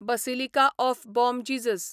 basilica of Bom Jesus